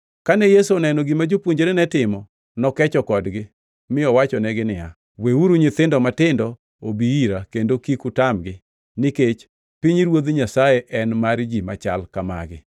Kane Yesu oneno gima jopuonjrene timo, nokecho kodgi, mi owachonegi niya, “Weuru nyithindo matindo obi ira kendo kik utamgi, nikech pinyruoth Nyasaye en mar ji machal ka magi.